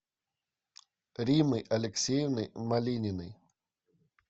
риммой алексеевной малининой